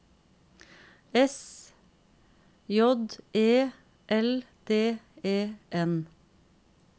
S J E L D E N